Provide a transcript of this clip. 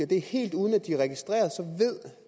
det er helt uden at de er registreret